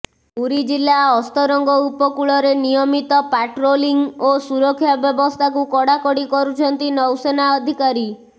ପୁରୀ ଜିଲ୍ଲା ଅସ୍ତରଙ୍ଗ ଉପକୂଳରେ ନିୟମିତ ପାଟ୍ରୋଲିଂ ଓ ସୁରକ୍ଷା ବ୍ୟବସ୍ଥାକୁ କଡାକଡି କରୁଛନ୍ତି ନୌସେନା ଅଧିକାରୀ